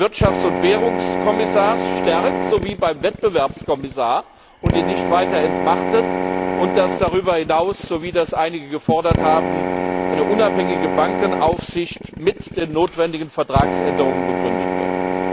Wirtschafts und Währungskommissars stärkt, so wie beim Wettbewerbskommissar, und ihn nicht weiter entmachtet und dass darüber hinaus, so wie das einige gefordert haben, eine unabhängige Bankenaufsicht mit den notwendigen Vertragsänderungen begründet wird.